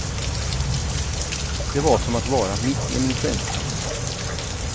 Det var som att vara mitt i en influensa.